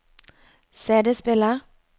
CD-spiller